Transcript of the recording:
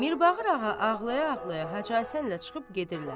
Mirbağır ağa ağlaya-ağlaya Hacı Həsənlə çıxıb gedirlər.